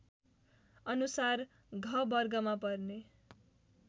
अनुसार घ वर्गमा पर्ने